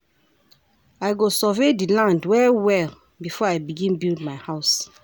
I go survey di land well-well before I begin build my house.